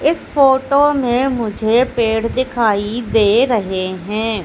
इस फोटो में मुझे पेड़ दिखाई दे रहे हैं।